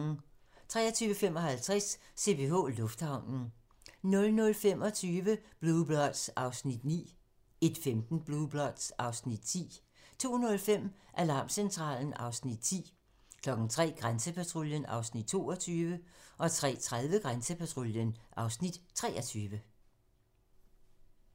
23:55: CPH Lufthavnen 00:25: Blue Bloods (Afs. 9) 01:15: Blue Bloods (Afs. 10) 02:05: Alarmcentralen (Afs. 10) 03:00: Grænsepatruljen (Afs. 22) 03:30: Grænsepatruljen (Afs. 23)